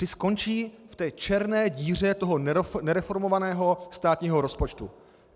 Ty skončí v té černé díře toho nereformovaného státního rozpočtu.